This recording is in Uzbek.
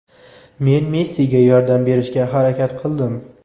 Men Messiga yordam berishga harakat qildim.